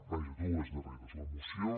vaja dues darreres la moció